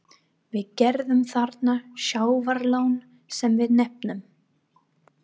Við gerðum þarna sjávarlón, sem við nefnum